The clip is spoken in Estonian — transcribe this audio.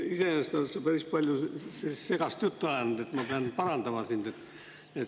Iseenesest oled sa päris palju segast juttu ajanud, et ma pean parandama sind.